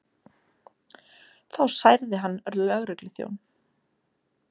Þá særði hann lögregluþjón